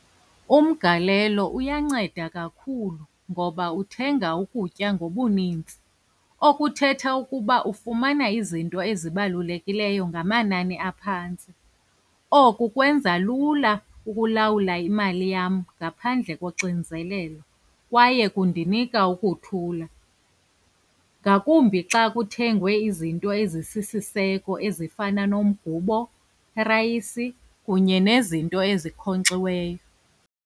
Umgalelo uyanceda kakhulu, ngoba uthenga ukutya ngobuninzi. Okuthetha ukuba ufumana izinto ezibalulekileyo ngamanani aphantsi. Oku kwenza lula ukulawula imali yam ngaphandle koxinzelelo kwaye kundinika ukuthula, ngakumbi xa kuthengwe izinto ezisisiseko ezifana nomgubo, irayisi kunye nezinto ezinkonkxiweyo.